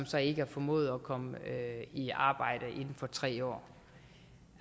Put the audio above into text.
så ikke har formået at komme i arbejde inden for tre år